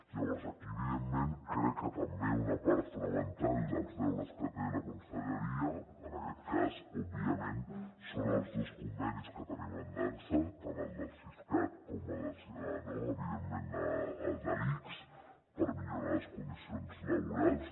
llavors aquí evidentment crec que també una part fonamental dels deures que té la conselleria en aquest cas òbviament són els dos convenis que tenim en dansa tant el del siscat com evidentment el de l’ics per millorar les condicions laborals